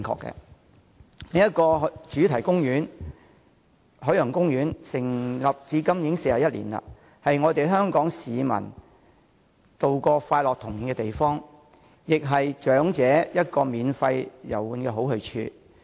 另一個主題公園——海洋公園——成立至今已41年，是不少香港市民度過快樂童年的地方，亦是長者免費遊玩的好去處。